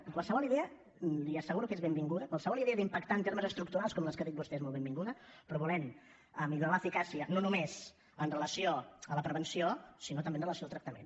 i qualsevol idea li asseguro que és benvinguda qualsevol idea d’impactar en termes estructurals com les que ha dit vostè és molt benvinguda però volem millorar l’eficàcia no només amb relació a la prevenció sinó també amb relació al tractament